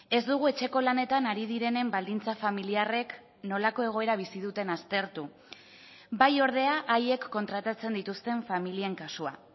ez dugu etxeko lanetan ari direnen baldintza familiarrek nolako egoera bizi duten aztertu bai ordea haiek kontratatzen dituzten familien kasua